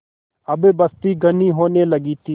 अब बस्ती घनी होने लगी थी